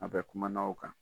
A bɛ kumana o kan.